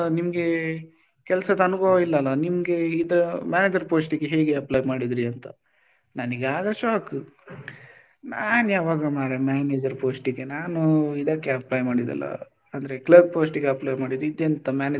ನಿಮ್ಗೆ ಕೆಲ್ಸದ್ ಅನುಭವ ಇಲ್ಲಲ್ಲಾ ನಿಮ್ಗೆ ಈ ತರ manager post ಗೆ ಹೇಗೆ apply ಮಾಡಿದ್ರಿ ಅಂತ, ನನಗೆ ಆಗ shock ನಾನು ಯಾವಾಗ ಮರ್ರೆ manager post ಗೆ ನಾನು ಇದಕ್ಕೆ apply ಮಾಡಿದ್ದಲ್ಲ ಅಂದ್ರೆ clerk post ಗೆ apply ಮಾಡಿದ್ದು ಇದು ಎಂತ manager ,